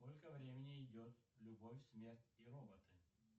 сколько времени идет любовь смерть и роботы